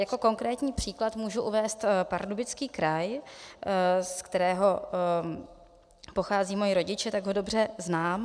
Jako konkrétní příklad můžu uvést Pardubický kraj, z kterého pocházejí moji rodiče, tak ho dobře znám.